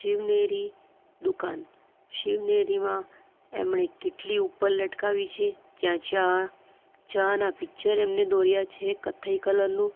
શિવનેરી દુકાન શિવનેરીમાં એમણે કીટલી ઉપર લટકાવી છે ત્યાં ચા ચા ના પિક્ચર એમને દોરીયા છે કથ્થઈ કલર નું --